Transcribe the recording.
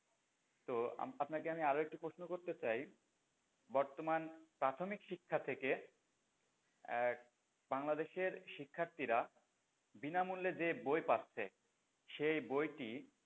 তো আপ আপনাকে আমি আরও একটা প্রশ্ন করতে চাই বর্তমান প্রাথমিক শিক্ষা থেকে আহ বাংলাদেশের শিক্ষার্থীরা বিনামূল্যে যে বই পাচ্ছে সেই বইটি